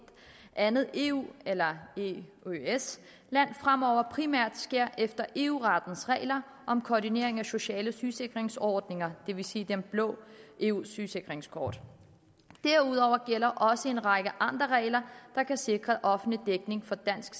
andet eu eller eøs land fremover primært sker efter eu rettens regler om koordinering af sociale sygesikringsordninger det vil sige det blå eu sygesikringskort derudover gælder også en række andre regler der kan sikre offentlig dækning for dansk